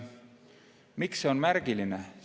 Miks see on märgiline?